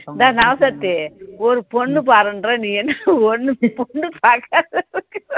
rராசாத்தி ஒரு பொண்ணு பாருன்ற நீ என்ன பொண்ணு பார்க்காத